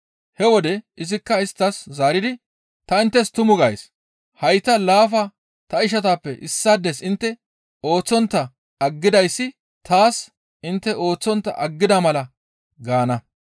«He wode izikka isttas zaaridi, ‹Ta inttes tumu gays; hayta laafa ta ishatappe issaades intte ooththontta aggidayssi taas intte ooththontta aggida mala› gaana.